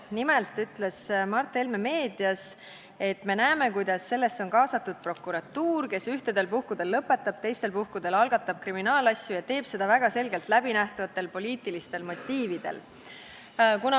Nimelt ütles Mart Helme meedias: "Me näeme, kuidas sellesse on kaasatud prokuratuur, kes ühtedel puhkudel lõpetab, teistel puhkudel algatab kriminaalasju ja teeb seda väga selgelt läbinähtavatel poliitilistel motiividel.